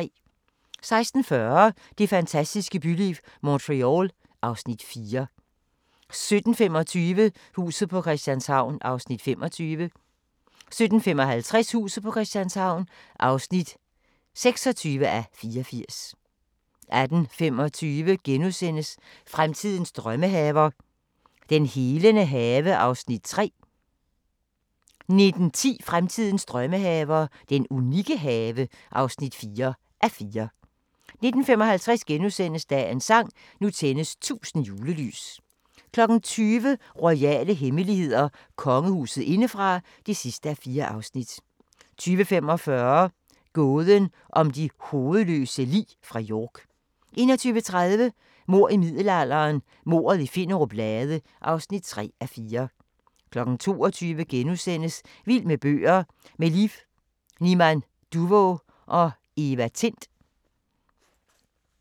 16:40: Det fantastiske byliv – Montreal (Afs. 4) 17:25: Huset på Christianshavn (25:84) 17:55: Huset på Christianshavn (26:84) 18:25: Fremtidens drømmehaver – den helende have (3:4)* 19:10: Fremtidens drømmehaver - den unikke have (4:4)* 19:55: Dagens sang: Nu tændes 1000 julelys * 20:00: Royale hemmeligheder: Kongehuset indefra (4:4) 20:45: Gåden om de hovedløse lig fra York 21:30: Mord i middelalderen – mordet i Finnerup Lade (3:4) 22:00: Vild med bøger: Med Liv Niman Duvå og Eva Tind *